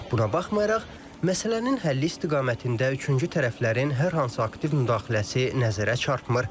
Buna baxmayaraq, məsələnin həlli istiqamətində üçüncü tərəflərin hər hansı aktiv müdaxiləsi nəzərə çarpmır.